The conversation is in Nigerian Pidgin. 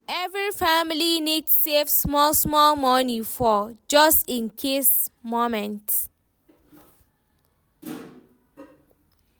Every family need save small-small money for "just in case" moments.